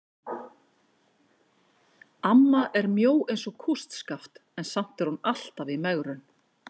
Amma er mjó eins og kústskaft en samt er hún alltaf í megrun.